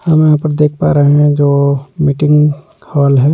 हम यहां पर देख पा रहे हैं जो मीटिंग हॉल है।